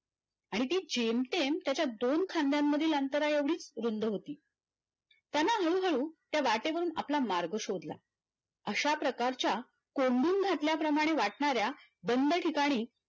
आणि ती जेमतेम त्याच्या दोन खांद्यांमधील अंतराएवढी रुंद होती त्यान हळूहळू त्या वाटेवरून आपला मार्ग शोधला अशाप्रकारच्या कोंडून घातल्याप्रमाणे वाटणाऱ्या बंद ठिकाणी